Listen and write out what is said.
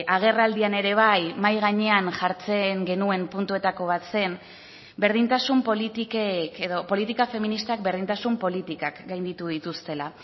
agerraldian ere bai mahai gainean jartzen genuen puntuetako bat zen berdintasun politikek edo politika feministak berdintasun politikak gainditu dituztela